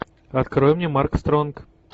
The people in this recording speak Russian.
открой мне марк стронг